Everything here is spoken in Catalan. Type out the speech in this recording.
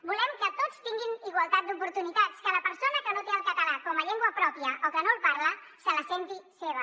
volem que tots tinguin igualtat d’oportunitats que la persona que no té el català com a llengua pròpia o que no el parla se la senti seva